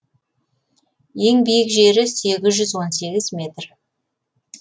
ең биік жері сегіз жүз он сегіз метр